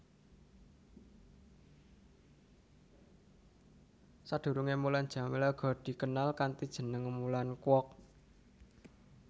Sadurungé Mulan Jameela uga dikenal kanthi jeneng Mulan Kwok